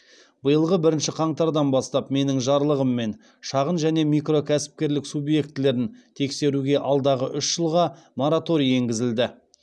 биылғы бірінші қаңтардан бастап менің жарлығыммен шағын және микро кәсіпкерлік субъектілерін тексеруге алдағы үш жылға мораторий енгізілді